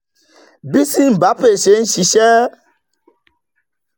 bí simbapay ṣe ń ṣiṣẹ́